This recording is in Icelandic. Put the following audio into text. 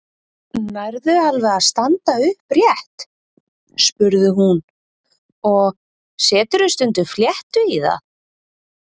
Nærðu alveg að standa upprétt? spurði hún og Seturðu stundum fléttu í það?